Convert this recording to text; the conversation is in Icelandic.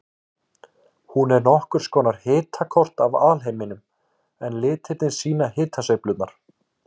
Hún er nokkurs konar hitakort af alheiminum en litirnir sýna hitasveiflurnar.